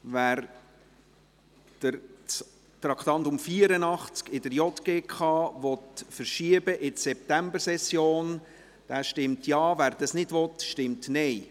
Wer das Traktandum 84 der JGK in die Septembersession verschieben möchte, stimmt Ja, wer dies nicht will, stimmt Nein.